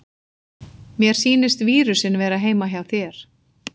Mér sýnist vírusinn vera heima hjá þér.